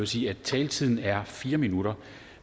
sige at taletiden er fire minutter